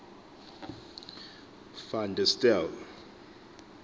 van der stel